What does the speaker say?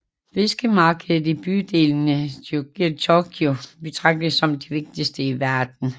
Fiskemarkedet i bydelen Tsukiji i Tokyo betragtes som det vigtigste i verden